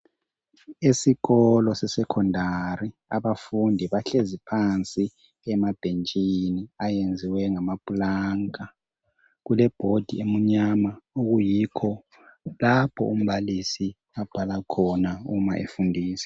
Esikolo sesecondaryabafundi bahlezi phansi emabhentshini. Ayenziwe nganaplanka. Kulebhodi emnyama okuyikho lapho umbalisi abhala khona nxa efundisa.,